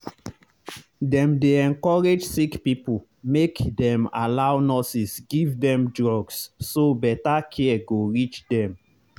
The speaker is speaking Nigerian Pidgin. dem dey encourage sick people make dem allow nurses give them drugs so better care go reach them.